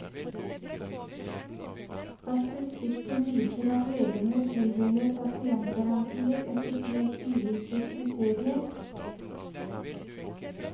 Statistikken viser at legene tildeler pasientgarantier etter helt ulike kriterier.